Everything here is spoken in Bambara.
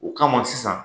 O kama sisan